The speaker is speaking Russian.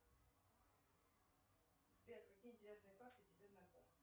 сбер какие интересные факты тебе знакомы